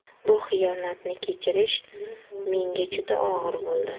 Bu xiyonatni kechirish menga juda og‘ir bo‘ldi.